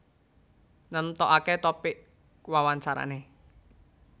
Nentokake topik wawancarane